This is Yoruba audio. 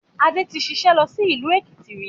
Adé tí ṣiṣẹ́ lọ sí ìlú Èkìtì rí